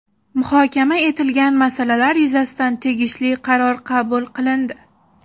Muhokama etilgan masalalar yuzasidan tegishli qaror qabul qilindi.